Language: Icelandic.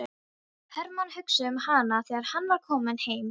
Hermann hugsaði um hana þegar hann var kominn heim.